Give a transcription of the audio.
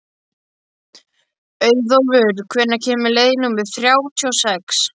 Auðólfur, hvenær kemur leið númer þrjátíu og sex?